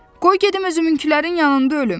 Qoy gedim özümünkülərin yanında ölüm.